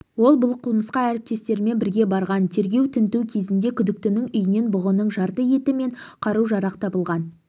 ол бұл қылмысқа әріптестерімен бірге барған тергеу-тінту кезінде күдіктінің үйінен бұғының жарты еті мен қару-жарақ табылған